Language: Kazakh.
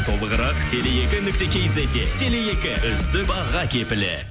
толығырақ теле екі нүкте кизетте теле екі үздік баға кепілі